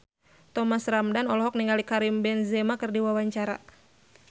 Thomas Ramdhan olohok ningali Karim Benzema keur diwawancara